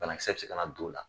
Bana kisɛ b se ka na don o la.